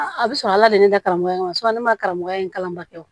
A bɛ sɔrɔ ala de ka karamɔgɔ in ne ma karamɔgɔya in kalan ba kɛ o